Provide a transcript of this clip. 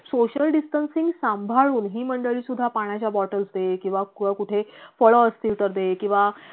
social distancing सांभाळून जी मंडळी सुद्धा पाण्याच्या बॉटल दे किंवा कुठे फळ असतील तर दे किंवा